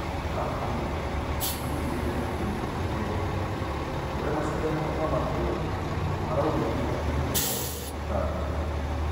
ABUKONI Ngiri igĩrĩ na ikũmi nakenda: ũrĩa macindano ma matũũra maraumĩria iheyo Tanga.